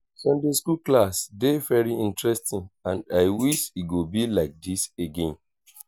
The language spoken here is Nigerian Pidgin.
sunday school class dey very interesting and i wish e go be like dis again